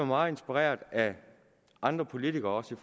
meget inspireret af andre politikere også i